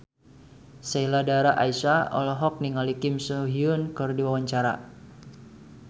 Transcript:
Sheila Dara Aisha olohok ningali Kim So Hyun keur diwawancara